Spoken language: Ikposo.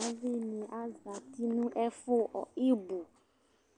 Ɗavi nɩ azati nʋ ɛfʋ ɩbʋ